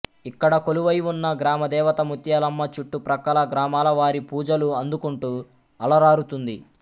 ఇక్కడ కొలువై ఉన్న గ్రామదేవత ముత్యాలమ్మ చుట్టు ప్రక్కల గ్రామాలవారి పూజలు అందుకుంటు అలరారుతుంది